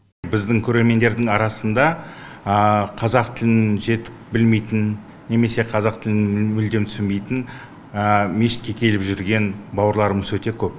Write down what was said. біздің көрермендердің арасында қазақ тілін жетік білмейтін немесе қазақ тілін мүлдем түсінбейтін мешітке келіп жүрген бауырларымыз өте көп